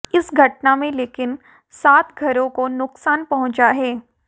इस घटना में लेकिन सात घरों को नुकसान पहुंचा है